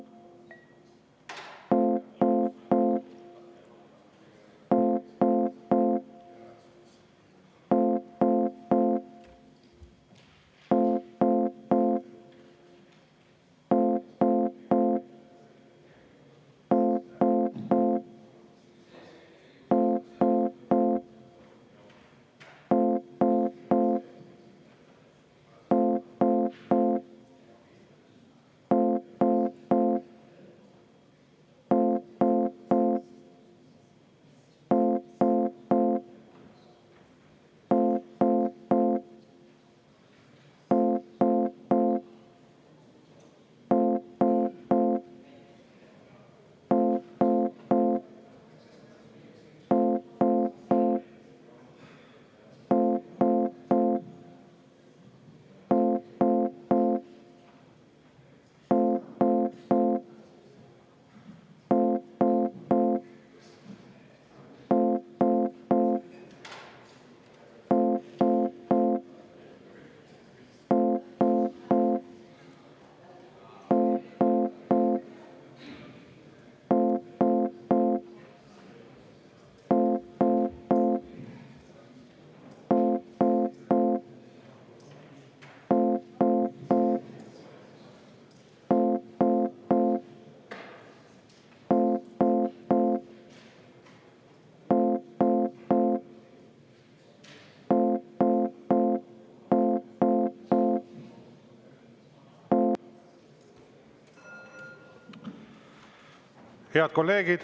Head kolleegid!